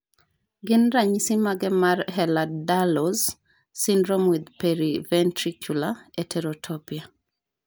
Gin ranyisisi mage mar Ehlers Danlos syndrome with periventricular heterotopia?